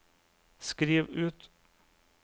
skriv ut